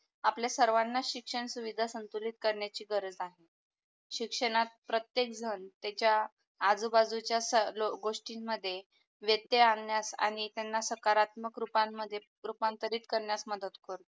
आपल्या सर्वाना शिक्षण सुविधा संतुलित करण्याची गरज आहे. शिक्षणात प्रतेकजन त्याच्या आजू बाजू च्या सर्व गोष्टी मध्ये वैदे आण्यात आणि त्यांना सकारात्मक रूपांमध्ये रूपांतरित करण्यात मदत करतो.